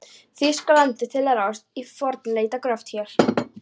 Þýskalandi til að ráðast í fornleifagröft hér.